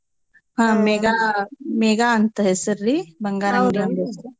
mega ಅಂತ್ ಹೆಸ್ರರಿ ಬಂಗಾರಂಗ್ಡಿ